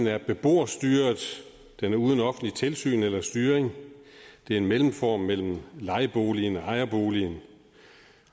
er beboerstyret den er uden offentligt tilsyn eller styring det er en mellemform mellem lejerboligen og ejerboligen